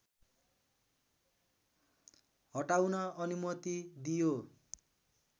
हटाउन अनुमति दियो